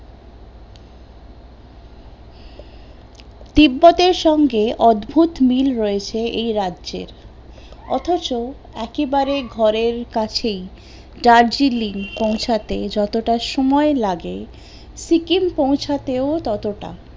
তিব্বতের সঙ্গে অদ্ভুত মিল রয়েছে এই রাজ্যের অতচ একেবারে ঘরের কাছেই দার্জিলিং পৌছাতে যতোটা সময় লাগে সিকিম পৌছাতে ও ততটা